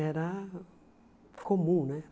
Era comum, né?